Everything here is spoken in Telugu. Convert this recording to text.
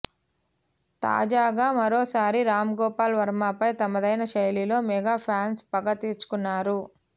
తాజాగా మరోసారి రామ్ గోపాల్ వర్మపై తమదైన శైలిలో మెగా ఫ్యాన్స్ పగ తీర్చుకున్నారు